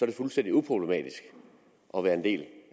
det fuldstændig uproblematisk at være en del